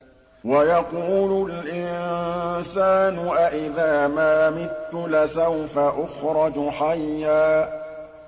وَيَقُولُ الْإِنسَانُ أَإِذَا مَا مِتُّ لَسَوْفَ أُخْرَجُ حَيًّا